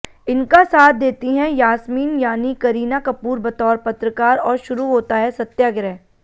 इनका साथ देती हैं यास्मीन यानि करीना कपूर बतौर पत्रकार और शुरू होता है सत्याग्रह